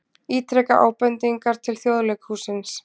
Ítreka ábendingar til Þjóðleikhússins